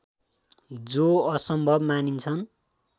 जो असम्भव मानिन्छन्